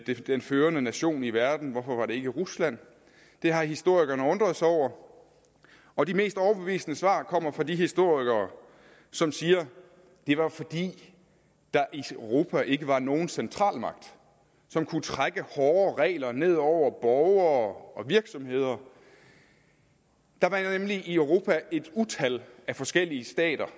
den førende nation i verden hvorfor var det ikke rusland det har historikerne undret sig over og de mest overbevisende svar kommer fra de historikere som siger det var fordi der i europa ikke var nogen centralmagt som kunne trække hårde regler ned over borgere og virksomheder der var nemlig i europa et utal af forskellige stater